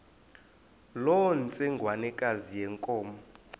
loo ntsengwanekazi yenkomo